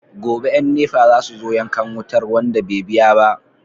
Gobe yan NEPA zasu zo yankan wutar wanda be biya ba